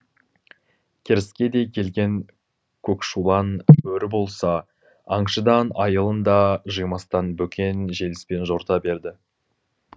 керіскедей келген көкшулан бөрі болса аңшыдан айылын да жимастан бөкен желіспен жорта берді